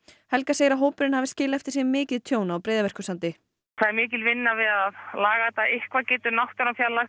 helga segir að hópurinn hafi skilið eftir sig mikið tjón á Breiðamerkursandi það er mikil vinna við að laga þetta eitthvað getur náttúran fjarlægt